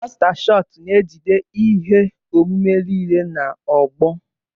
Mástá Shọọt na-ejide ihe omume niile na ogbo.